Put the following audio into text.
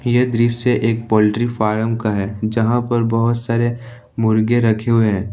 यह दृश्य एक पोल्ट्री फार्म का है जहां पर बहुत सारे मुर्गे रखे हुए हैं।